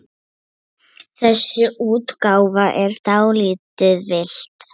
Þessi útgáfa er dálítið villt.